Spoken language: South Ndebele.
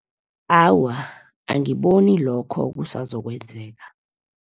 Awa, angiboni lokho kusazokwenzeka.